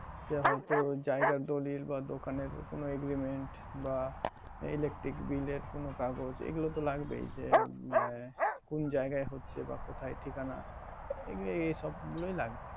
হয়তো জায়গার দলিল বা দোকান এর কোনো agriment বা electric bill এর কোনো কাগজ এগুলো তো লাগবেই যে আহ কুন্ জায়গায় হচ্ছে বা কোথায় ঠিকানা এই এসব গুলোই লাগবে